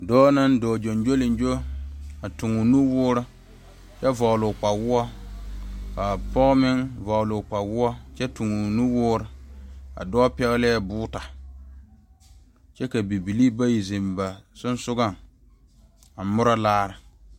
Dɔɔ naŋ dɔɔ gyoŋgyoleŋkyo, a toŋ o nuwɔɔre kyɛ vɔgeli o kpawɔɔ kaa pɔge meŋ vɔgeli o kpawɔɔ kyɛ toŋ o nuwɔɔr, a dɔɔ pɛgele boota kyɛ ka bibilii bayi zeŋ ba sensɔleŋ a mɔra laare.